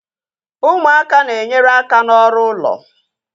Ụmụaka na-enyere aka n'ọrụ ụlọ